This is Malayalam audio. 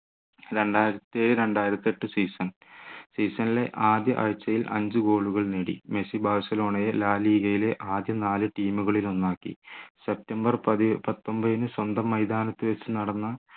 രണ്ടായിരത്തിയേഴ് രണ്ടായിരത്തിയെട്ടു season season ലെ ആദ്യ ആഴ്ചയിൽ അഞ്ചു goal കൾ നേടി മെസ്സി ബാഴ്സലോണയെ la liga യിലെ ആദ്യ നാല് team കളിലൊന്നാക്കി സെപ്റ്റംബർ പതി ഏർ പത്തൊമ്പതിന് സ്വന്തം മൈതാനത്തു വെച്ച് നടന്ന